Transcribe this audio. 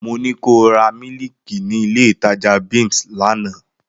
Mo ní ko ra mílíìkì nílé ìtajà Bims lánàá!